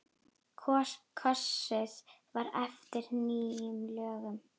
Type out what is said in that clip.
Kosið var eftir nýjum lögum.